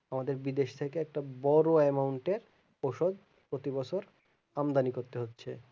আমাদের বিদেশ থেকে একটা বড়ো amount এর ঔষধ প্রতিবছর আমদানি করতে হচ্ছে